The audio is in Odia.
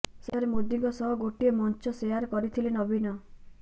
ସେଠାରେ ମୋଦିଙ୍କ ସହ ଗୋଟିଏ ମଞ୍ଚ ସେୟାର କରିଥିଲେ ନବୀନ